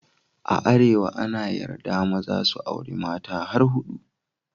A Arewa an yarda maza su auri mata har hudu.